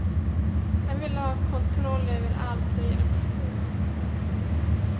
Han vill ha kontroll över allt, säger en person.